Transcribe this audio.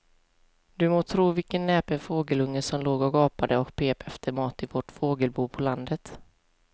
Du må tro vilken näpen fågelunge som låg och gapade och pep efter mat i vårt fågelbo på landet.